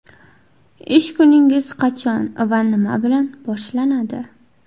Ish kuningiz qachon va nima bilan boshlanadi?